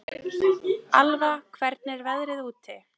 Alva, hvernig er veðrið úti?